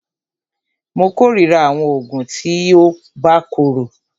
Mó kòrira àwọn oògùn tí o bá korò.